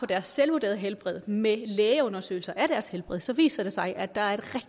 deres selvvurderede helbred med lægeundersøgelser af deres helbred så viser det sig at der er